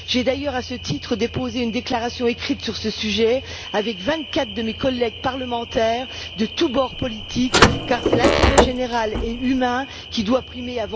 J'ai d'ailleurs, à ce titre, déposé une déclaration écrite sur ce sujet avec vingt quatre de mes collègues parlementaires de tous bords politiques car c'est l'intérêt général et humain qui doit primer.